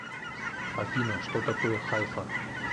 афина что такое хайфа